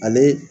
Ale